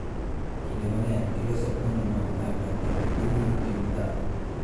Kinde mang�eny, giloso puonj mag oganda kendo gimulo tim dhano.